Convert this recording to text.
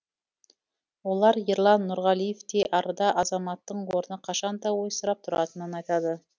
олар ерлан нұрғалиевтей арда азаматтың орны қашан да ойсырап тұратынын айтады